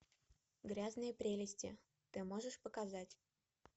грязные прелести ты можешь показать